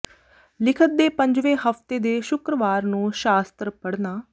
ਲਿਖਤ ਦੇ ਪੰਜਵੇਂ ਹਫ਼ਤੇ ਦੇ ਸ਼ੁੱਕਰਵਾਰ ਨੂੰ ਸ਼ਾਸਤਰ ਪੜ੍ਹਨਾ